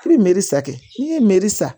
I bɛ sa kɛ n'i ye mɛri san